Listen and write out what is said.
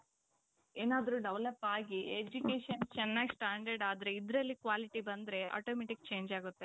ಏನಾದ್ರು develop ಆಗಿ education ಚೆನ್ನಾಗ್ standard ಆದ್ರೆ ಇದರಲ್ಲಿ quality ಬಂದ್ರೆ automatic change ಆಗುತ್ತೆ .